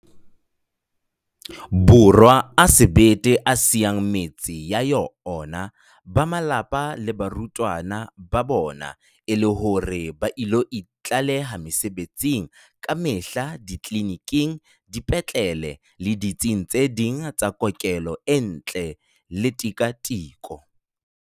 Borwa a sebete a siyang metse ya ona, ba malapa le baratuwa ba bona e le hore ba ilo itlaleha mesebetsing kamehla ditleliniking, dipetlele le ditsing tse ding tsa kokelo ntle le tika-tiko.